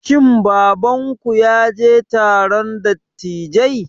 Shin babanku ya je taron dattijai?